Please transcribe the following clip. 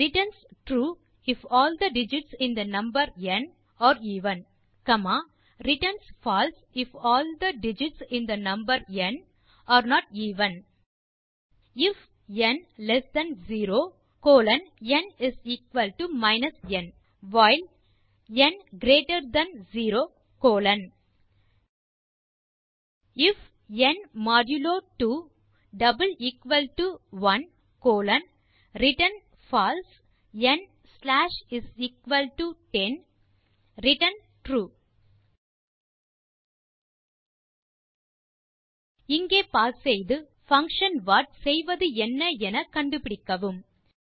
returns true if all the digits in the number n are even returns false if all the digits in the number n are not even பின் அடுத்த line if n less than 0 colon n n while n greater than 0 colon அடுத்த line if n modulo 2 1 colon return false n slash 10 return true இங்கே pass செய்து function what செய்வதென்ன என கண்டுபிடிக்கவும்